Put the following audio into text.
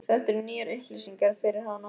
Þetta eru nýjar upplýsingar fyrir hana.